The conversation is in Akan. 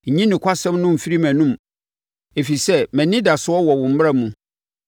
Nyi nokwasɛm no mfiri mʼanom, ɛfiri sɛ mʼanidasoɔ wɔ wo mmara mu.